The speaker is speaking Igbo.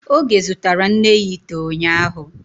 Oge zụtara nne ya ite unyahu